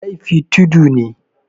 laifi tudu ne